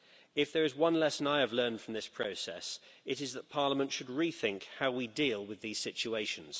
If there is one lesson I have learned from this process, it is that Parliament should rethink how we deal with these situations.